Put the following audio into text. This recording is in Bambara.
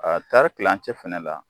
kilancɛ fana la